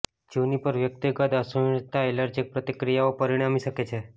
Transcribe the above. juniper વ્યક્તિગત અસહિષ્ણુતા allergic પ્રતિક્રિયાઓ પરિણમી શકે છે